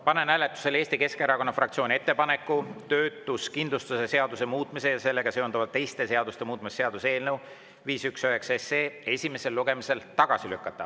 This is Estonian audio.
Panen hääletusele Eesti Keskerakonna fraktsiooni ettepaneku töötuskindlustuse seaduse muutmise ja sellega seonduvalt teiste seaduste muutmise seaduse eelnõu 519 esimesel lugemisel tagasi lükata.